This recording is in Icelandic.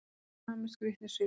Sami skrýtni svipurinn.